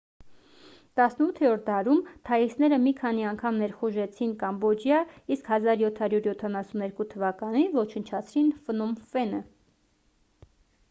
18-րդ դարում թաիսները մի քանի անգամ ներխուժեցին կամբոջիա իսկ 1772 թվականին ոչնչացրին ֆնոմ ֆենը